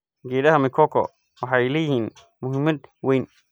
Geedaha mikoko waxay leeyihiin muhiimad weyn.